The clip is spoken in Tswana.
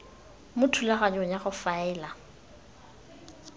mo thulaganyong ya go faela